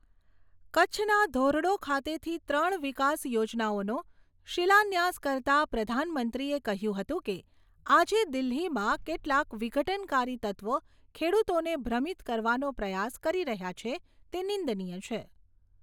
કચ્છના ધોરડો ખાતેથી ત્રણ વિકાસ યોજનાઓનો શિલાન્યાસ કરતાં પ્રધાનમંત્રીએ કહ્યું હતું કે, આજે દિલ્હીમાં કેટલા વિઘટનકારી તત્ત્વો ખેડૂતોને ભ્રમિત કરવાનો પ્રયાસ કરી રહયાં છે તે નિંદનીય છે.